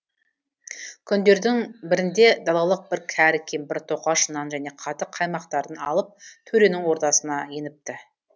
күндердің бірінде далалық бір кәрі кемпір тоқаш нан және қатық қаймақтарын алып төренің ордасына еніпті